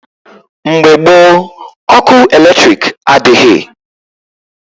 Mgbe gboo, ọkụ eletrik adịghị.